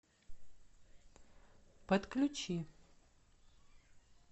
подключи